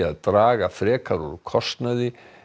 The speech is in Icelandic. að draga frekar úr kostnaði